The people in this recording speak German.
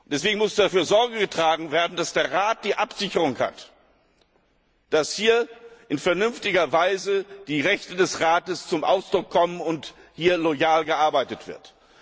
Deswegen muss dafür Sorge getragen werden, dass der Rat die Absicherung hat, dass in vernünftiger Weise die Rechte des Rates zum Ausdruck kommen und loyal gearbeitet wird.